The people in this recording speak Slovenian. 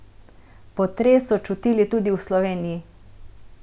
Potres so čutili tudi v Sloveniji.